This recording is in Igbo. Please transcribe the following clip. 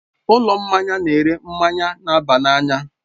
Ụlọ mmanya na-ere mmanya na-aba n'anya.